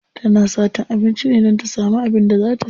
Tana satan abinci ne don ta samu abin da za ta ci.